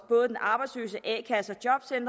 både de arbejdsløse i a kasser